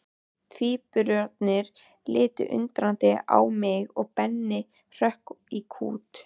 Tvíburarnir litu undrandi á mig og Benni hrökk í kút.